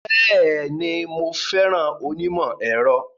Bẹ́ẹ̀ni, mo fẹ́ràn onímọ̀-ẹ̀rọ.